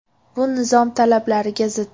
Bu nizom talablariga zid.